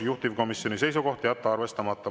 Juhtivkomisjoni seisukoht on jätta arvestamata.